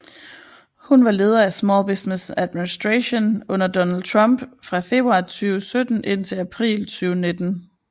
Hun var leder af Small Business Administration under Donald Trump fra februar 2017 indtil april 2019